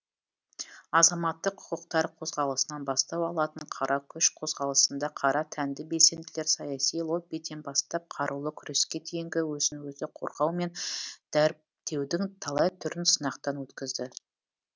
азаматтық құқықтар қозғалысынан бастау алатын қара күш қозғалысында қара тәнді белсенділер саяси лоббиден бастап қарулы күреске дейінгі өзін өзі қорғау мен дәуіптеудің талай түрін сынақтан өткізді